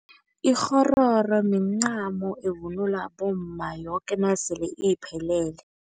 Ikghororo mincamo evunulwa bomma yoke nasele iphelele.